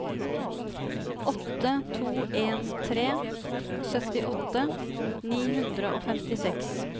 åtte to en tre syttiåtte ni hundre og femtiseks